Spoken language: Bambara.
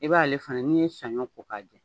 I b'ale ale fɛnɛ n'i ye saɲɔ ko k'a jɛ